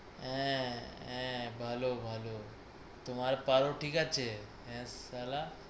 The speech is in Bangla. আঁ আঁ ভালো ভালো তোমার পারু ঠিক আছে? হ্যাঁ শালা